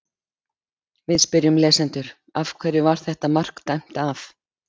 Við spyrjum lesendur: Af hverju var þetta mark dæmt af?